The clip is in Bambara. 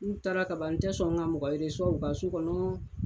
N taara kaban n tɛ sɔn ka mɔgɔ u ka so kɔnɔ.